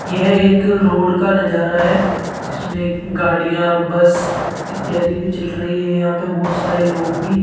यह एक रोड का नजारा है जिसमें गाड़ियां बस इत्यादि भी चल रही है यहां पर बहुत सारे लोग भी --